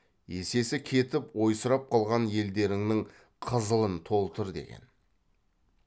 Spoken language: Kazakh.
есесі кетіп ойсырап қалған елдеріңнің қызылын толтыр деген